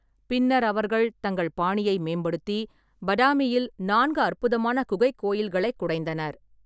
பின்னர் அவர்கள் தங்கள் பாணியை மேம்படுத்தி, பாடாமியில் நான்கு அற்புதமான குகைக் கோயில்களைக் குடைந்தனர்.